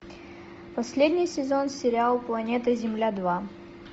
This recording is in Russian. последний сезон сериал планета земля два